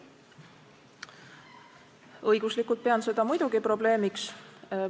Õiguslikult pean seda muidugi probleemiks.